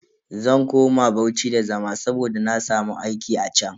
Zan koma Bauchi da zama saboda na samu aiki a chan.